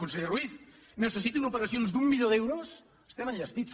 conseller ruiz necessitin operacions d’un milió d’euros estem enllestits